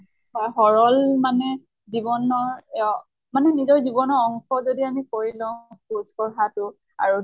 স সৰল মানে জীৱনৰ অ মানে নিজৰ জীৱনৰ অংশ যদি কৰি লওঁ খোজ কঢ়া টো আৰু